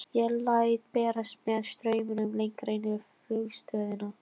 Ég læt berast með straumnum lengra inn í flugstöðina.